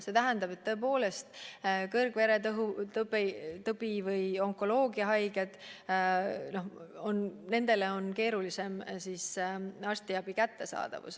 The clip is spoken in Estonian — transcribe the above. See tähendab seda, et tõepoolest, kõrgvererõhktõvega inimestel või onkoloogiahaigetel on keerulisem arstiabi saada.